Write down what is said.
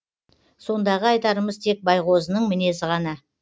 сондағы айтарымыз тек байғозының мінезі ғана